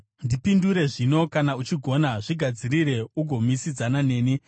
Ndipindure zvino, kana uchigona; zvigadzirire ugomisidzana neni.